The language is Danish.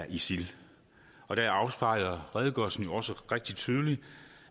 isil og der afspejler redegørelsen jo også rigtig tydeligt